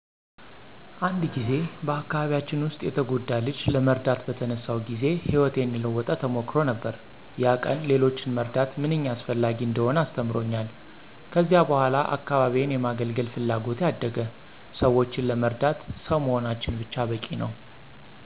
አንድ ጊዜ በአካባቢያችን ውስጥ የተጎዳ ልጅ ለመርዳት በተነሳሁ ጊዜ ሕይወቴን የለወጠ ተሞክሮ ነበር። ያ ቀን ሌሎችን መርዳት ምንኛ አስፈላጊ እንደሆነ አስተምሮኛል። ከዚያ በኋላ አካባቢዬን የማገለገል ፍላጎቴ አደገ። ሰዎችን ለመርዳት ሰው መሆናችን ብቻ በቂ ነው።